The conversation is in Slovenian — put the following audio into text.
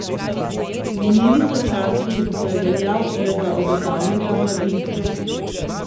Minili so časi, ko je veljal le za obetavnega mladinca.